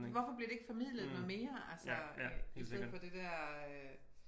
Hvorfor bliver det ikke formidlet noget mere altså i stedet for det dér øh